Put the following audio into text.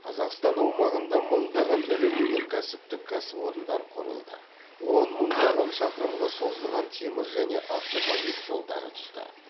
қазақстан аумағында мыңдаған ірі өнеркәсіптік кәсіпорындар құрылды он мыңдаған шақырымға созылған темір және автомобиль жолдары түсті